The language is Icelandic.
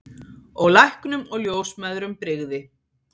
Og læknum og ljósmæðrum brygði.